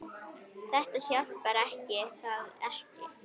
Það hjálpar er það ekki?